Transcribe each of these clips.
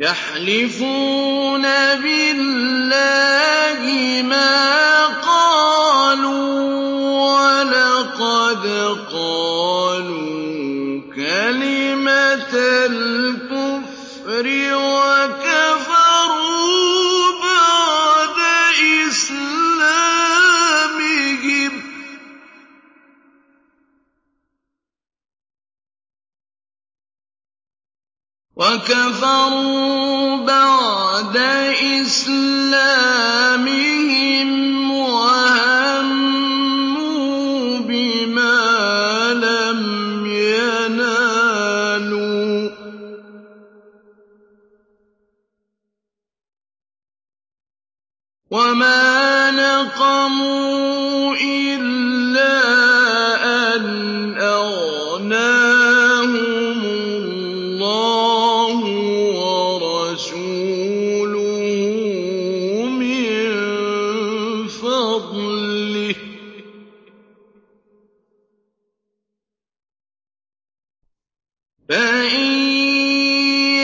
يَحْلِفُونَ بِاللَّهِ مَا قَالُوا وَلَقَدْ قَالُوا كَلِمَةَ الْكُفْرِ وَكَفَرُوا بَعْدَ إِسْلَامِهِمْ وَهَمُّوا بِمَا لَمْ يَنَالُوا ۚ وَمَا نَقَمُوا إِلَّا أَنْ أَغْنَاهُمُ اللَّهُ وَرَسُولُهُ مِن فَضْلِهِ ۚ فَإِن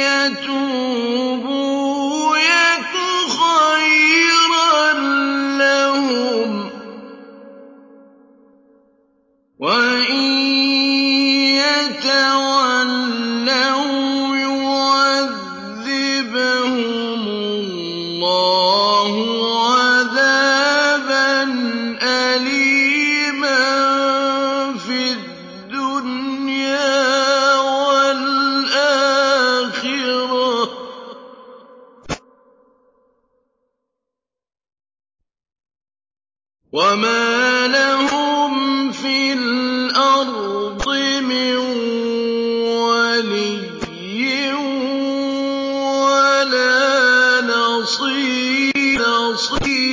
يَتُوبُوا يَكُ خَيْرًا لَّهُمْ ۖ وَإِن يَتَوَلَّوْا يُعَذِّبْهُمُ اللَّهُ عَذَابًا أَلِيمًا فِي الدُّنْيَا وَالْآخِرَةِ ۚ وَمَا لَهُمْ فِي الْأَرْضِ مِن وَلِيٍّ وَلَا نَصِيرٍ